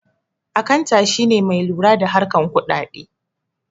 Akanta shine mai lura da harkan kudade